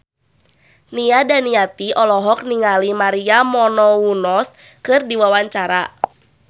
Nia Daniati olohok ningali Maria Menounos keur diwawancara